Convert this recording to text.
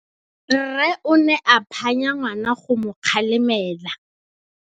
Rre o ne a phanya ngwana go mo galemela.